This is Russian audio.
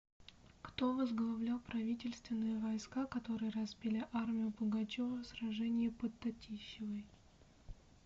кто возглавлял правительственные войска которые разбили армию пугачева в сражении под татищевой